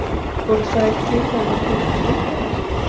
Voru þær til ef þær voru ekki ritaðar?